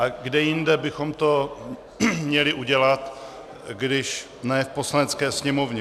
A kde jinde bychom to měli udělat, když ne v Poslanecké sněmovně?